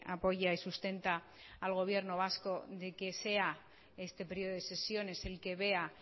apoya y sustenta al gobierno vasco de que sea este período de sesiones el que vea